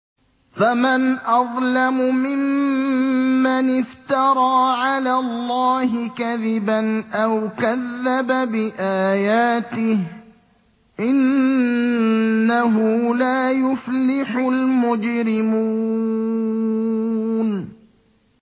فَمَنْ أَظْلَمُ مِمَّنِ افْتَرَىٰ عَلَى اللَّهِ كَذِبًا أَوْ كَذَّبَ بِآيَاتِهِ ۚ إِنَّهُ لَا يُفْلِحُ الْمُجْرِمُونَ